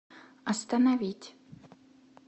остановить